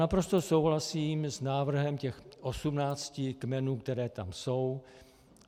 Naprosto souhlasím s návrhem těch osmnácti kmenů, které tam jsou.